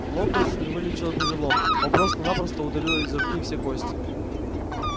локонс не вылечил перелом он просто-напросто удалил из руки все кости